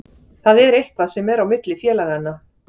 Það er eitthvað sem er á milli félaganna.